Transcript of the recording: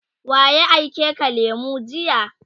waye aike ka lemu jiya?